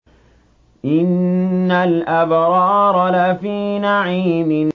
إِنَّ الْأَبْرَارَ لَفِي نَعِيمٍ